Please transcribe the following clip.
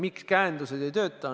Miks käendused ei tööta?